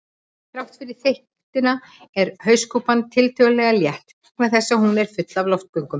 Þrátt fyrir þykktina er hauskúpan tiltölulega létt vegna þess að hún er full af loftgöngum.